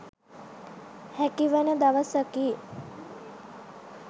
හැකිවන දවසකි.